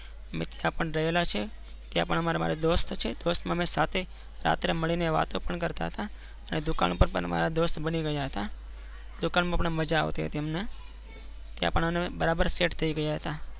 રહેલા છીએ. અ એમ સાથે છીએ ત્યાં પણ મારા દોસ્ત છે દોસ્ત ને સાથે મળી ને વાતો કરતા હતા ને દુકાન ઉપર પણ દોસ્ત બની ગયા હતા. દુકાન મપર અમને માંઝ્ઝા આવતી હતી અમને ત્યાં પણ અમે બારાબાર Set થઇ ગયા હતા.